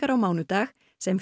á mánudag sem